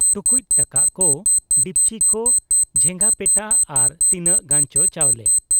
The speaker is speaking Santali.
ᱴᱩᱠᱩᱡ ᱴᱟᱠᱟᱜ ᱠᱚ , ᱰᱤᱯᱪᱤ ᱠᱚ ᱡᱷᱮᱜᱟᱯᱮᱴᱟ ᱟᱨ ᱛᱤᱱᱟᱹᱜ ᱜᱟᱱᱪᱚ ᱪᱟᱣᱞᱮ ᱾